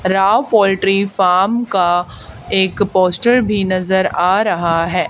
Rao poultry farm का एक poster भी नजर आ रहा हैं।